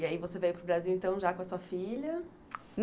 E aí, você veio para o Brasil, então, já com a sua filha?